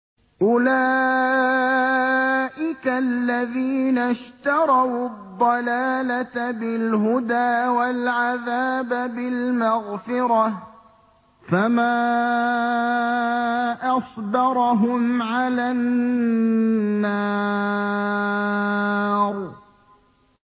أُولَٰئِكَ الَّذِينَ اشْتَرَوُا الضَّلَالَةَ بِالْهُدَىٰ وَالْعَذَابَ بِالْمَغْفِرَةِ ۚ فَمَا أَصْبَرَهُمْ عَلَى النَّارِ